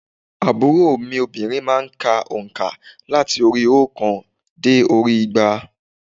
Àbúrò mi obìnrin má a n ka ònkà láti orí óòkan dé orí i igba